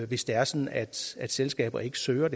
hvis det er sådan at selskaber ikke søger